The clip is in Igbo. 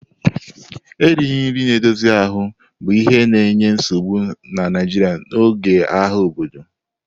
Erighị nri na-edozi ahụ bụ ihe na-enye nsogbu na Nigeria n'oge agha obodo.